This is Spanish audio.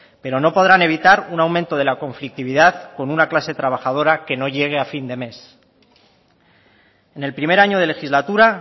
pero no podrán evitar un aumento de la conflictividad con una clase trabajadora que no llegue a fin de mes en el primer año de legislatura